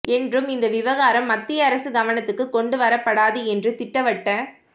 என்றும் இந்த விவகாரம் மத்திய அரசு கவனத்துக்கு கொண்டு வரப்படாது என்றும் திட்டவட்ட